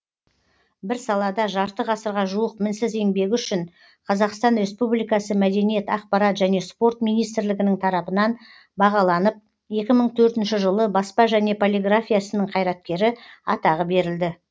бір салада жарты ғасырға жуық мінсіз еңбегі үшін қазақстан республикасы мәдениет акпарат және спорт министрлігінің тарапынан бағаланып екі мың төртінші жылы баспа және полиграфия ісінің қайраткері атағы берілді